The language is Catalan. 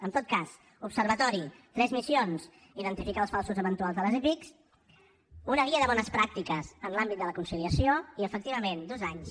en tot cas observatori tres missions identificar els falsos eventuals de les epic una guia de bones pràctiques en l’àmbit de la conciliació i efectivament dos anys